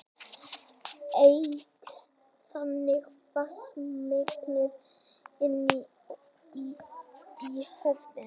Eykst þannig vatnsmagnið inni í höfðinu.